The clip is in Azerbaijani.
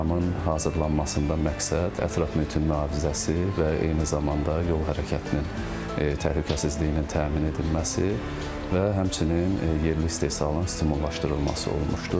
Proqramın hazırlanmasında məqsəd ətraf mühitin mühafizəsi və eyni zamanda yol hərəkətinin təhlükəsizliyinin təmin edilməsi və həmçinin yerli istehsalın stimullaşdırılması olmuşdur.